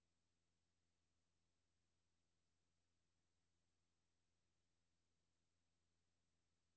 Hvis vi får styrket teknikeruddannelserne, betyder det, at de kan tage job, som i dag bliver udført af ingeniører.